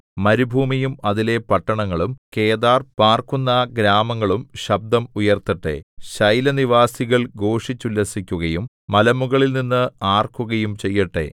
മരുഭൂമിയും അതിലെ പട്ടണങ്ങളും കേദാർ പാർക്കുന്ന ഗ്രാമങ്ങളും ശബ്ദം ഉയർത്തട്ടെ ശൈലനിവാസികൾ ഘോഷിച്ചുല്ലസിക്കുകയും മലമുകളിൽ നിന്ന് ആർക്കുകയും ചെയ്യട്ടെ